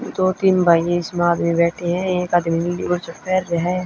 दो तीन भई इसमह आदमी बैठें हं एक आदमी लिली बुरशट पहर रयो ह।